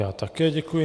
Já také děkuji.